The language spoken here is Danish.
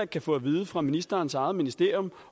kan få at vide fra ministerens eget ministerium